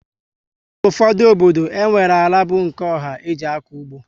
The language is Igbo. N' ụfọdụ obodo, enwere àlà bu nke ọha e ji akọ ụgbọ